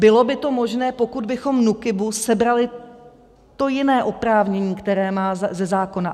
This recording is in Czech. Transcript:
Bylo by to možné, pokud bychom NÚKIBu sebrali to jiné oprávnění, které má ze zákona.